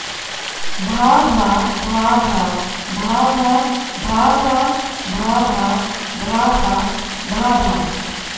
भा भा भा भा भा भा भा भा भा भा भा भा भा भा